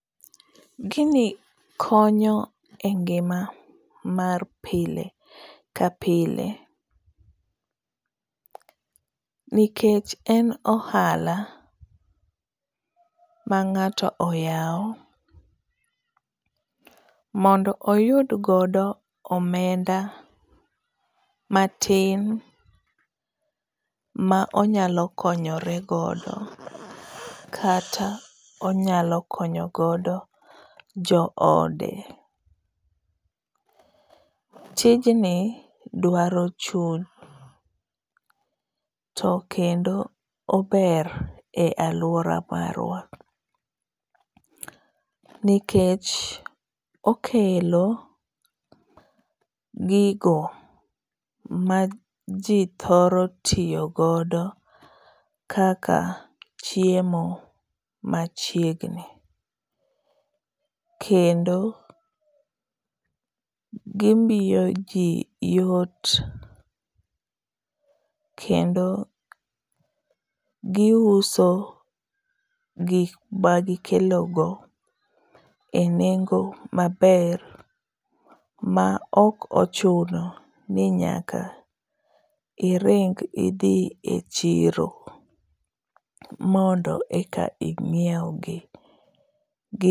Gini konyo e ngima mar pile ka pile nikech en ohala mang'ato oyawo mondo oyud godo omenda matin ma onyalo konyore godo kata konyo o joode. Tijni dwaro chuny to kendo ober e aluora marwa nikech okelo gigo maji thoro tiyo godo kaka chiemo machiegni kendo gimiyoji yot kendo giuso gik magikelogo e nengo maber ma ok ochuno ni nyaka iring idhi e chiro mondo eka inyiewgi gi